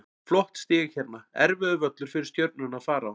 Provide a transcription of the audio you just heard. Flott stig hérna, erfiður völlur fyrir Stjörnuna að fara á.